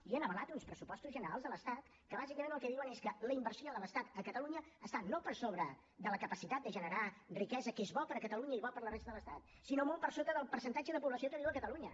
i han avalat uns pressupostos generals de l’estat que bàsicament el que diuen és que la inversió de l’estat a catalunya està no per sobre de la capacitat de generar riquesa que és bo per a catalunya i bo per a la resta de l’estat sinó molt per sota del percentatge de població que viu a catalunya